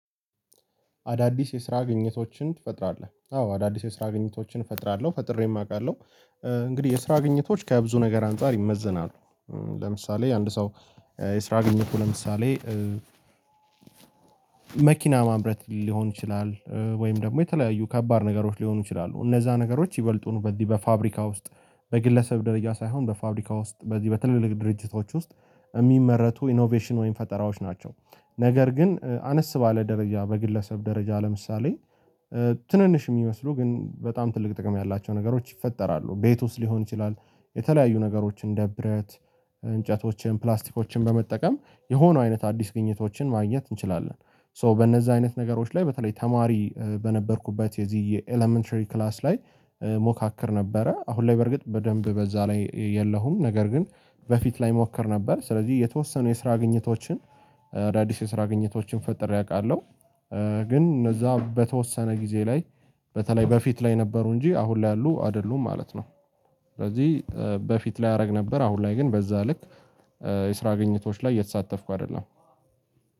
አዳዲስ የስራ ግንኙነቶችን ትፈጥራለህ። አዎ አዳዲስ የስራ ግንኙነቶችን እፈጥራለሁ፤ ፈጥሬም አውቃለሁ። እንግዲህ የስራ ግንኙነቶች ከብዙ ነገር አንፃር ይመዘናሉ። ለምሳሌ አንድ ሰው የስራ ግንኙነቱ ለምሳሌ መኪና ማምረት ሊሆን ይችላል። ወይም ደግሞ የተለያዩ ከባድ ነገሮች ሊሆኑ ይችላሉ። እነዛ ነገሮች ይበልጡን በዚህ በፋብሪካ ውስጥ በግለሰብ ደረጃ ሳይሆን በፋብሪካ ውስጥ በዚህ በትልልቅ ድርጅቶች ውስጥ እሚመረቱ ኢኖቬሽን ወይም ፈጠራዎች ናቸው። ነገር ግን አነስ ባለ ደረጃ በግለሰብ ደረጃ ለምሳሌ ትንንሽ የሚመስሉ ግን በጣም ትልቅ ጥቅም ያላቸው ነገሮች ይፈጠራሉ ቤት ውስጥ ሊሆን ይችላል የተለያዩ ነገሮች እንደ ብረት፣ እንጨቶችን፣ ፕላስቲኮችን በመጠቀም የሆኑ አይነት አዲስ ግኝቶችን ማግኘት እንችላለን። ሶ በነዛ አይነት ነገሮች ላይ በተለይ ተማሪ በነበርኩበት የዚህ የኤለመንተሪ ክላስ ላይ ሞካክር ነበረ። አሁን ላይ በርግጥ በደንብ በዛ ላይ የለሁም። ነገር ግን በፊት ላይ ሞክር ነበር። ስለዚህ የተወሰኑ የስራ ግኝቶችን አዳዲስ የስራ ግኝቶችን ፈጥሬ አውቃለሁ። ግን እነዛ በተወሰነ ጊዜ ላይ በተለይ በፊት ላይ ነበሩ እንጂ አሁን ላይ ያሉ አይደሉም ማለት ነው። ስለዚህ በፊት ላይ አደርግ ነበር፤ አሁን ላይ ግን በዛ ልክ የስራ ግኝቶች ላይ እየተሳተፍኩ አይደለም።